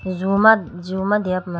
zoo ma zoo ma deya puma.